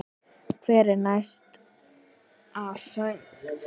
Hver er næsta sögn?